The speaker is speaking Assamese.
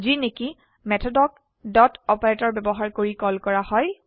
যিনেকি মেথডক ডট অপাৰেটৰ ব্যবহাৰ কৰি কল কৰা হয়